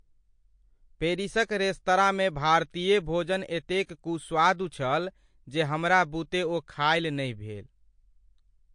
पेरिसक रेस्तराँमे भारतीय भोजन एतेक कुस्वादु छल जे हमरा बुते ओ खाएल नहि भेल ।